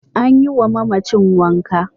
An yiwa mamacin wanka.